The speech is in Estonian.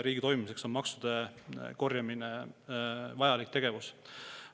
Riigi toimimiseks on maksude korjamine vajalik tegevus.